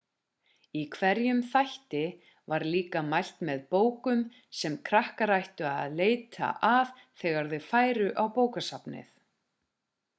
í hverjum þætti var líka mælt með bókum sem krakkar ættu að leita að þegar þau færu á bókasafnið